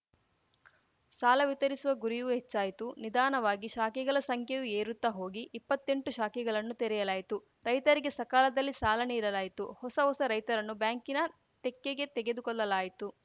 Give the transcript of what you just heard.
ಸಾಲ ವಿತರಿಸುವ ಗುರಿಯೂ ಹೆಚ್ಚಾಯಿತು ನಿಧಾನವಾಗಿ ಶಾಖೆಗಳ ಸಂಖ್ಯೆಯು ಏರುತ್ತಾ ಹೋಗಿ ಇಪ್ಪತ್ತೆಂಟು ಶಾಖೆಗಳನ್ನು ತೆರೆಯಲಾಯಿತು ರೈತರಿಗೆ ಸಕಾಲದಲ್ಲಿ ಸಾಲ ನೀಡಲಾಯಿತು ಹೊಸ ಹೊಸ ರೈತರನ್ನು ಬ್ಯಾಂಕಿನ ತೆಕ್ಕೆಗೆ ತೆಗೆದುಕೊಳ್ಳಲಾಯಿತು